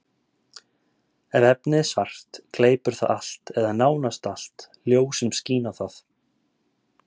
Ef efnið er svart, gleypir það allt, eða nánast allt, ljós sem skín á það.